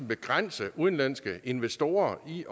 begrænse udenlandske investorer i